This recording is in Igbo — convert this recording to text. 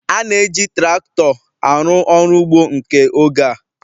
A na-eji traktọ arụ ọrụ ugbo nke oge a.